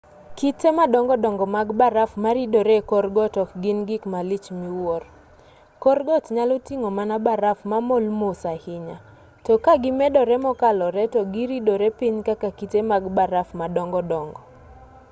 kite madongo dongo mag baraf ma ridore e kor got ok gin gik malich miwuoro kor got nyalo ting'o mana baraf mamol mos ahinya to ka gimedore mokalore to giridore piny kaka kite mag baraf madongo dongo